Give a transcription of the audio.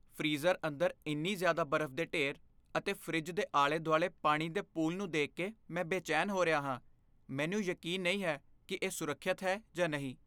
Freezer ਅੰਦਰ ਇੰਨੀ ਜ਼ਿਆਦਾ ਬਰਫ਼ ਦੇ ਢੇਰ ਅਤੇ ਫਰਿੱਜ ਦੇ ਆਲੇ ਦੁਆਲੇ ਪਾਣੀ ਦੇ ਪੂਲ ਨੂੰ ਦੇਖ ਕੇ ਮੈਂ ਬੇਚੈਨ ਹੋ ਰਿਹਾ ਹਾਂ, ਮੈਨੂੰ ਯਕੀਨ ਨਹੀਂ ਹੈ ਕਿ ਇਹ ਸੁਰੱਖਿਅਤ ਹੈ ਜਾਂ ਨਹੀਂ।